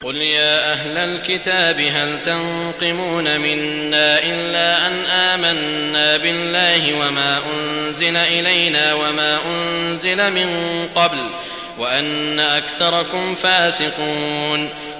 قُلْ يَا أَهْلَ الْكِتَابِ هَلْ تَنقِمُونَ مِنَّا إِلَّا أَنْ آمَنَّا بِاللَّهِ وَمَا أُنزِلَ إِلَيْنَا وَمَا أُنزِلَ مِن قَبْلُ وَأَنَّ أَكْثَرَكُمْ فَاسِقُونَ